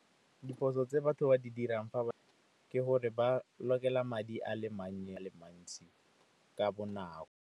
Diphoso tse batho ba di dirang fa ba ke gore ba lokela madi a mannye, a le mantsi ka bonako.